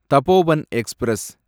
Tapovan express